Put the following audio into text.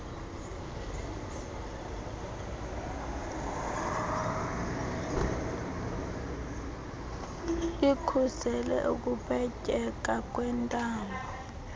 ikhusele ukupetyeka kwentamo